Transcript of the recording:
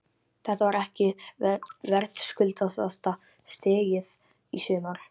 Þetta var ekki verðskuldaðasta stigið í sumar?